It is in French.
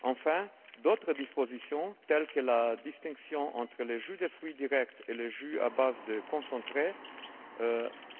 Enfin, d'autres dispositions, telles que la distinction entre le jus de fruits direct et le jus à base de concentré,